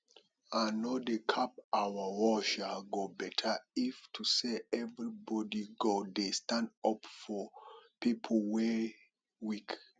i no dey cap our world um go beta if to say everybody go dey stand up for pipo wey weak